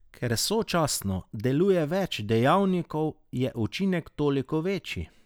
Ker sočasno deluje več dejavnikov, je učinek toliko večji.